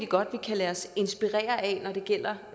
godt vi kan lade os inspirere af når det gælder